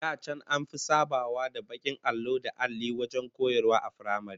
Da can an fi sabawa da bakin allo da alli wajen koyarwa a firamare